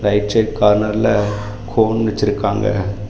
Right side கார்னர்ல cone வெச்சு இருக்காங்க.